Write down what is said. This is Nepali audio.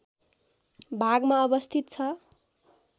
भागमा अवस्थित छ